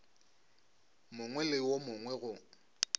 mongwe le wo mongwe go